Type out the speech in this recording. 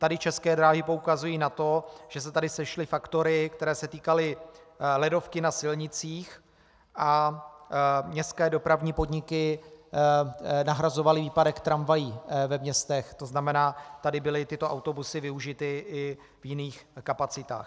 Tady České dráhy poukazují na to, že se tady sešly faktory, které se týkaly ledovky na silnicích, a městské dopravní podniky nahrazovaly výpadek tramvají ve městech, to znamená tady byly tyto autobusy využity i v jiných kapacitách.